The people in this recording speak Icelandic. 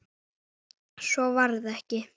Svo varð ekki.